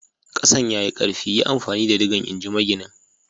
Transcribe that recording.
Kasan ya yi karfi, yi amfani da digan, in ji maginin.